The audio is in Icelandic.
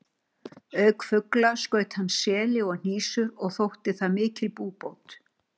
Auk fugla skaut hann seli og hnísur og þótti það mikil búbót.